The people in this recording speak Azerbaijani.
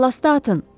Ballastı atın!